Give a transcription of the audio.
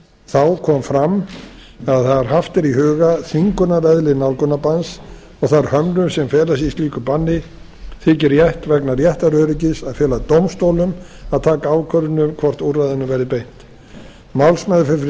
þá kom fram að þegar haft er í huga þvingunareðli nálgunarbanns og þær hömlur sem felast í slíku banni þyki rétt vegna réttaröryggis að fela dómstólum að taka ákvörðun um hvort úrræðinu verði beitt málsmeðferð fyrir